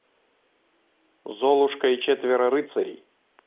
золушка и четверо рыцарей